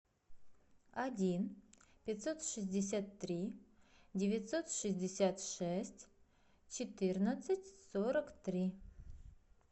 один пятьсот шестьдесят три девятьсот шестьдесят шесть четырнадцать сорок три